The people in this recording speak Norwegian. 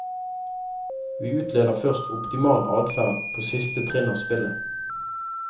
Vi utleder først optimal adferd på siste trinn av spillet.